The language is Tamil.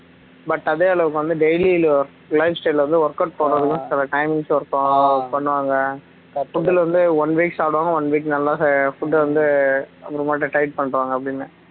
but அதே அளவுக்கு வந்து daily lifestyle ல workout பண்ணனும் சில times ல work பண்ணுவாங்க food வந்து one week சாப்பிடுவாங்க one week நல்லா food வந்து diet பண்ணிருவாங்க அப்படின்னா